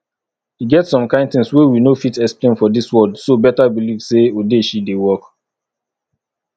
e get some things wey we no fit explain for dis world so better believe say odeshi dey work